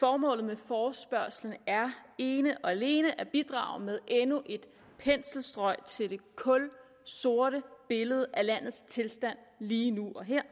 formålet med forespørgslen er ene og alene at bidrage med endnu et penselstrøg til det kulsorte billede af landets tilstand lige nu og her